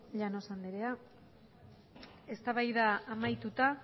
llanos anderea eztabaida amaituta